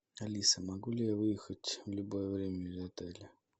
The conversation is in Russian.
алиса могу ли я выехать в любое время из отеля